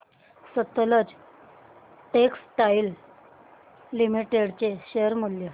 Sutlej textiles limited चे share मूल्य